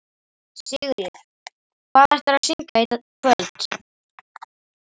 Sigríður: Hvað ætlarðu að syngja í kvöld?